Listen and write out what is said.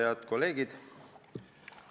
Head kolleegid!